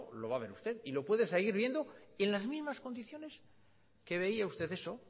lo va a ver usted y lo puede seguir viendo en las mismas condiciones que veía usted eso